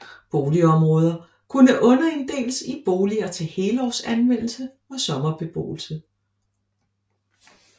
Boligområder kunne underinddeles i boliger til helårsanvendelse og sommerbeboelse